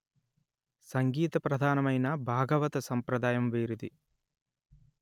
సంగీత ప్రధానమైన భాగవత సంప్రదాయం వీరిది